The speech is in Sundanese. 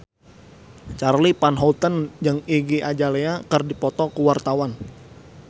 Charly Van Houten jeung Iggy Azalea keur dipoto ku wartawan